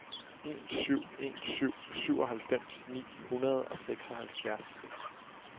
en syv en syv syvoghalvfems ni hundrede og seksoghalvfjerds